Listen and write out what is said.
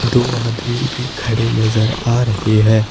दो आदमी भी खड़े नजर आ रहे है।